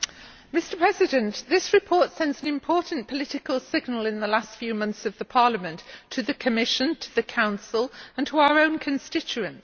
Mr President, this report sends an important political signal in the last few months of Parliament to the Commission, to the Council and to our own constituents.